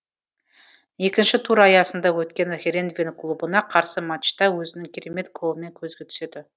екінші тур аясында өткен херенген клубына қарсы матчта өзінің керемет голымен көзге түседі